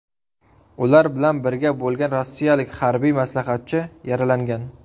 Ular bilan birga bo‘lgan rossiyalik harbiy maslahatchi yaralangan.